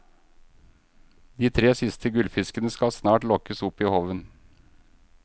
De tre siste gullfiskene skal snart lokkes opp i håven.